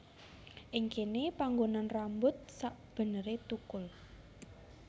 Ing kéné panggonan rambut sakbeneré tukul